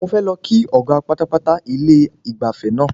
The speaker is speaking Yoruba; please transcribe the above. Mo fẹ́ lọ kí ọ̀gá pátápátá ilé ìgbafẹ́ náà.